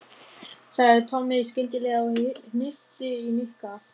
sagði Tommi skyndilega og hnippti í Nikka.